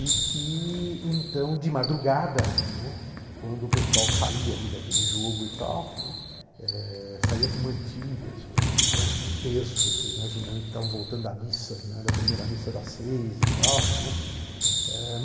E que, então de madrugada, né, quando o pessoal saía daquele jogo e tal né, eh saía com mantilhas, né, com terços, imaginando que estavam voltando da missa né da primeira missa das seis e tal, né.